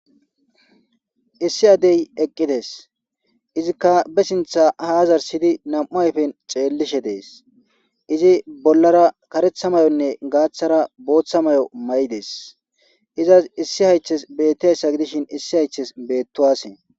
Issi addey eqqides izikka be sintha haazar siydi nam'u ayfen ceellishe dees izi bollara karetha mayonne gaaththara booththa mayo may'i dees izas issi haythes bettiayssa gidishin issi haythes beettowase